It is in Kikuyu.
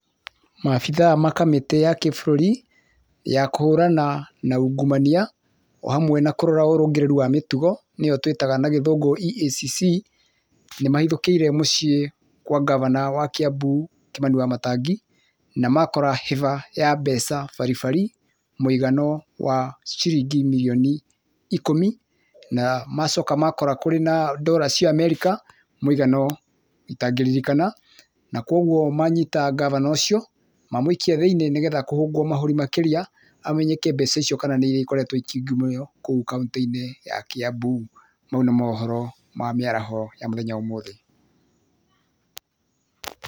Maabithaa ma kamĩtĩ ya kĩbũrũri, ya kũhũrana na ungumania, o hamwe na kũrora ũrũngĩrĩru wa mĩtugo nĩyo twĩtaga na gĩthũngũ EACC , nĩmahĩthũkĩire mũciĩ kwa ngabana wa Kĩambu, Kimani Wamatangi, na makora hĩba ya mbeca baribari, mũigano wa ciringi mirioni ikũmi, na macoka makora kũrĩ na dora cia Amerika mũigana itangĩririkana, na koguo manyita ngavana ũcio, mamũikia thĩinĩ nĩgetha kũhũngwo mahũri makĩria amenyeke mbeca icio kana nĩ iria ikoretwo ikĩungumio kũu kauntĩ-inĩ ya Kĩambu. Mau nĩ mohoro ma mĩaraho ya ũmũthĩ.